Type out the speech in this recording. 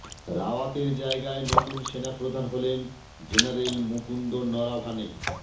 রাওয়াতের জায়গায় নতুন সেনা প্রধান হলেন জেনারেল মুকুন্দ নরাভানে